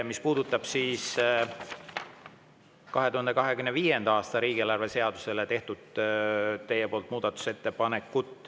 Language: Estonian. See puudutab teie tehtud muudetusettepanekuid 2025. aasta riigieelarve seaduse kohta.